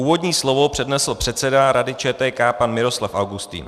Úvodní slovo přednesl předseda Rady ČTK pan Miroslav Augustin.